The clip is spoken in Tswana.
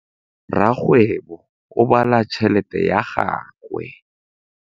Rakgwêbô o bala tšheletê ya gagwe.